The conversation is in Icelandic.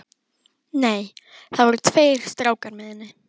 Nei, það voru tveir strákar með henni.